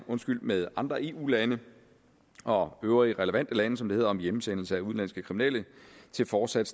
med andre eu lande og øvrige relevante lande som det hedder om hjemsendelse af udenlandske kriminelle til fortsat